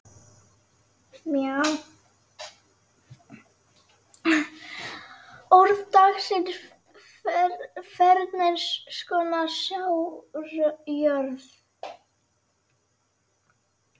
Orð dagsins Ferns konar sáðjörð